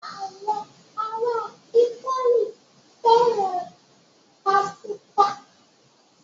Àwọn ará Ítálì fẹ́ràn pásítà.